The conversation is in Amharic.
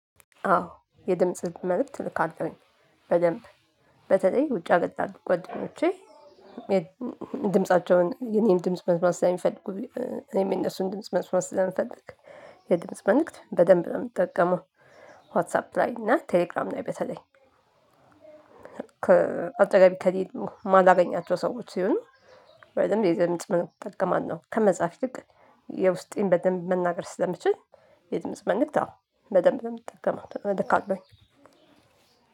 አዎ የድምጽ መልእክት ልካለውኝ በደንብ በተለይ ውጭ ሀገር ላሉት ጓደኞቼ። ድምፃቸውን የኔን ድምጽ መስማት ስለሚፈልጉ እኔም የነሱን ድምጽ መስማት ስለምፈልግ የድምጽ መልእክት በደንብ ነው የምጠቀመው። ዋሳፕ ላይ እና ቴሌግራም ላይ በተለይ። ከአጠገቤ ከሌሉ ማላገኛቸው ሰዎች ሲሆን። ወይም የድምጽ መልክት እጠቀማለሁ ከመጽሐፍ ይልቅ የውስጤን በደንብ መናገር ስለምችል። የድምጽ መልክት አዎ በደንብ ነው የምጠቀመው አለኝ።